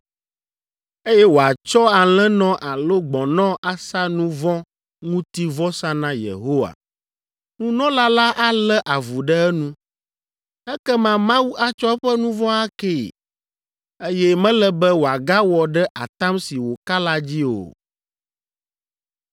eye wòatsɔ alẽnɔ alo gbɔ̃nɔ asa nu vɔ̃ ŋuti vɔsa na Yehowa. Nunɔla la alé avu ɖe enu, ekema Mawu atsɔ eƒe nu vɔ̃ akee, eye mele be wòagawɔ ɖe atam si wòka la dzi o.